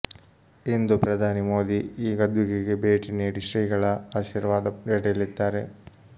ಇಂದು ಪ್ರಧಾನಿ ಮೋದಿ ಈ ಗದ್ದುಗೆಗೆ ಭೇಟಿ ನೀಡಿ ಶ್ರೀಗಳ ಆಶೀರ್ವಾದ ಪಡೆಯಲಿದ್ದಾರೆ